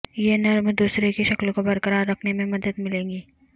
یہ نرم دوسرے کی شکل کو برقرار رکھنے میں مدد ملے گی